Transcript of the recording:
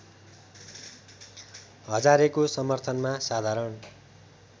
हजारेको समर्थनमा साधारण